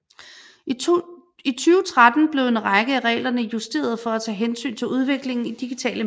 I 2013 blev en række af reglerne justeret for at tage hensyn til udviklingen i digitale medier